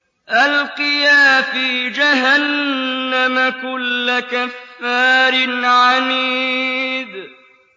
أَلْقِيَا فِي جَهَنَّمَ كُلَّ كَفَّارٍ عَنِيدٍ